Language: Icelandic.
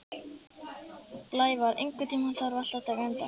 Blævar, einhvern tímann þarf allt að taka enda.